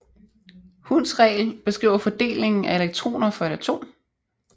Hunds regel beskriver fordelingen af elektroner for et atom